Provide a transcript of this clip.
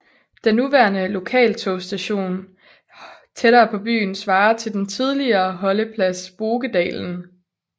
Den nuværende lokaltogsstation tættere på byen svarer til den tidligere holdeplads Bokedalen